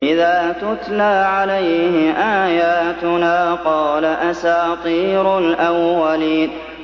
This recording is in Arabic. إِذَا تُتْلَىٰ عَلَيْهِ آيَاتُنَا قَالَ أَسَاطِيرُ الْأَوَّلِينَ